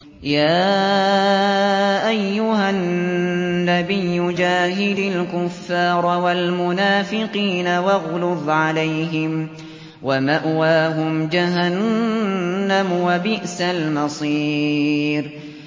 يَا أَيُّهَا النَّبِيُّ جَاهِدِ الْكُفَّارَ وَالْمُنَافِقِينَ وَاغْلُظْ عَلَيْهِمْ ۚ وَمَأْوَاهُمْ جَهَنَّمُ ۖ وَبِئْسَ الْمَصِيرُ